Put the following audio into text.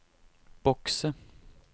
bokse